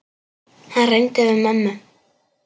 Hann reyndi við mömmu!